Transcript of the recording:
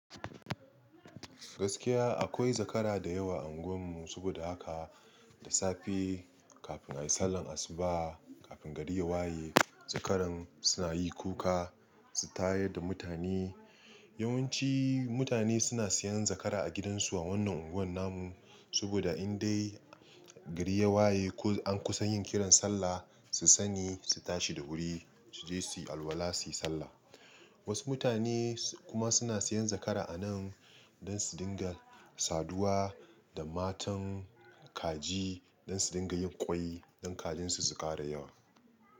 Gaskiya akwai zakara da yawa a unguwan mu saboda haka da safe kafin ayi sallar asuba, kafin gari ya waye zakaran suna yi kuka su tayar da mutane. Yawanci mutane suna siyan zakara a gidansu a wannan unguwar namun saboda in dai gari ya waye ko an kusan yin kiran sallah su sani su tashi da wuri su je su yi alwala su yi sallah. Wasu mutane su kuma suna siyan zakara a nan don su dinga saduwa da matan kaji don su dinga yin kwai don kajin su su ƙara yawa.